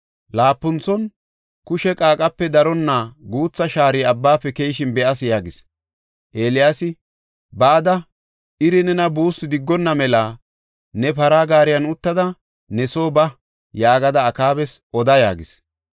Laapunthon, “Kushe qaaqape daronna guutha shaari abbafe keyishin be7as” yaagis. Eeliyaasi, “Bada, ‘iri nena buussu diggonna mela ne para gaariyan uttada ne soo ba’ yaagada Akaabas oda” yaagis.